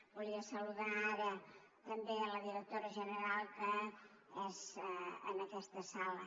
volia saludar ara també la directora general que és en aquesta sala